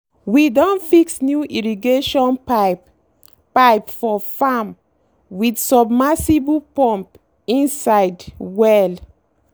we don fix new irrigation pipe pipe for farm with submersible pump inside well.